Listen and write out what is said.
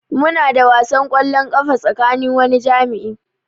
Muna da wasan kwallon kafa tsakanin wani jami'i.